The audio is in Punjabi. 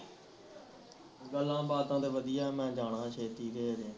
ਗੱਲਾਂ ਬਾਤਾਂ ਤਾਂ ਵਧੀਆ ਮੈਂ ਜਾਣਾ ਛੇਤੀ ਘਰੇ